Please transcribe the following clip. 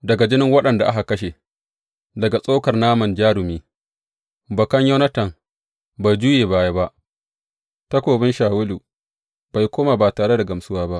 Daga jinin waɗanda aka kashe, daga tsokar naman jarumi, bakan Yonatan bai juye baya ba, takobin Shawulu bai komo ba tare da gamsuwa ba.